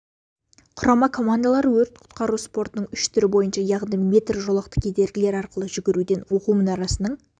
құрама командалары өрт-құтқару спортының үш түрі бойынша яғни метр жолақты кедергілер арқылы жүгіруден оқу мұнарасының